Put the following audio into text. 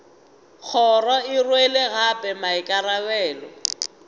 kgoro e rwele gape maikarabelo